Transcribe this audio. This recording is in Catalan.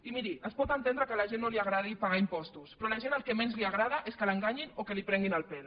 i miri es pot entendre que a la gent no li agradi pagar impostos però a la gent el que menys li agrada és que l’enganyin o que li prenguin el pèl